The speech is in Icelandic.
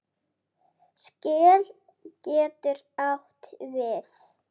Skel getur átt við